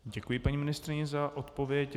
Děkuji paní ministryni za odpověď.